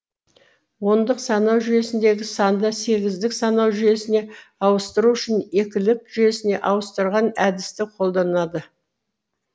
ондық санау жүйесіндегі санды сегіздік санау жүйесіне ауыстыру үшін екілік жүйесіне ауыстырған әдісті қолданады